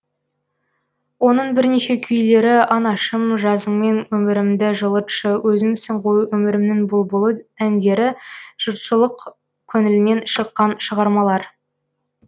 оның бірнеше күйлері анашым жазыңмен өмірімді жылытшы өзіңсің ғой өмірімнің бұлбұлы әндері жұртшылык көңілінен шыққан шығармалар